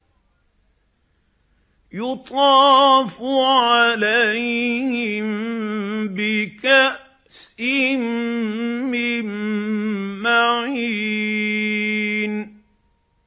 يُطَافُ عَلَيْهِم بِكَأْسٍ مِّن مَّعِينٍ